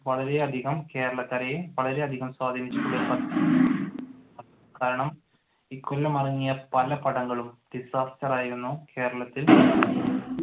വളരെ അധികം കേരളക്കരയെ വളരെയധികം കാരണം ഈ കൊല്ലം ഇറങ്ങിയ പല പടങ്ങളും disaster ആയിരുന്നു കേരളത്തിൽ.